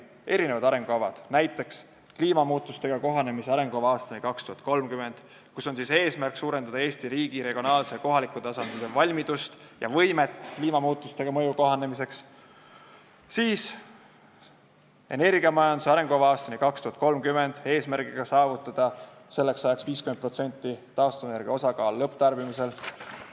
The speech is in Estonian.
Erinevad arengukavad: "Kliimamuutustega kohanemise arengukava aastani 2030", mille eesmärk on suurendada Eesti riigi, regionaalse ja kohaliku tasandi valmidust ja võimet kliimamuutuste mõjuga kohanemiseks, ning "Energiamajanduse arengukava aastani 2030", eesmärgiga saavutada selleks ajaks taastuvenergia 50%-line osakaal lõpptarbimises.